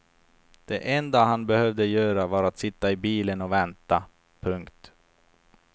Det enda han behövde göra var att sitta i bilen och vänta. punkt